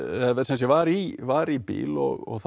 var í var í bíl og þá